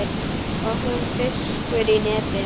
Og hún fiskur í neti.